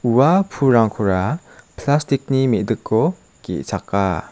ua pulrangkora plastik ni me·diko ge·chaka.